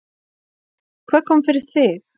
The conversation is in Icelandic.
Hvað kom fyrir þig?